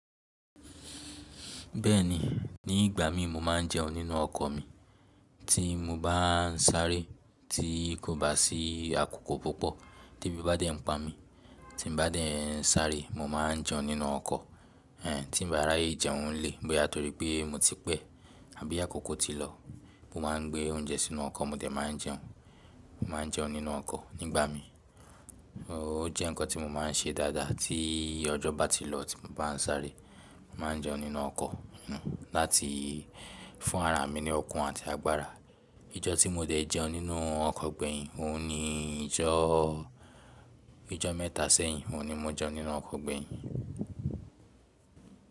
Bẹ́ẹ̀ni, ní ìgbà mi mo máa ń jẹun nínú ọkọ̀ mi. Tí mo bá ń sáré tí kò bá sí àkókò púpọ̀ tí ẹbí bá dẹ̀ ń pa mí, tí n bá dẹ̀ ń sáré mo máa ń jẹun nínú ọkọ̀. Ẹ̀hẹ́n tí n bá rí jẹun lè, bóyá torí pé mo ti pẹ̀ àbí àkókò ti lọ, mo máa gbé oúnjẹ sínú ọkọ̀ mo dẹ̀ máa jẹun. Mo máa ń jẹun nínú ọkọ̀ nígbà mi. O jẹ́ ǹkan tí mo máa ń ṣe dáadáa tií ọjọ́ bá ti lọ tí mo bá ń sáré, màá n jẹun nínú ọkọ̀. N láti fún ara mi ní òkun àti agbára. Ijọ́ tí mo dẹ̀ jẹun nínú ọkọ̀ gbẹ̀yìn, òun ni ijọ́, ijọ́ mẹ́ta sẹ́yìn òun ni mọ jẹun nínú ọkọ̀ gbẹ̀yìn.